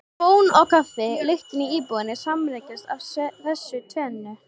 Bón og kaffi lyktin í íbúðinni sambreyskja af þessu tvennu.